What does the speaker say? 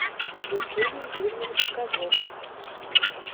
евгений юрьевич козлов